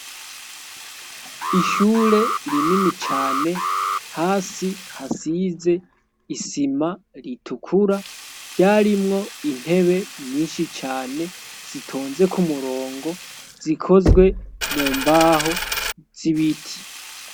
ishure rinini cane hasi hasize isima ritukura ryarimwo intebe nyinshi cane zitonze ku murongo zikozwe mu mbaho z'ibiti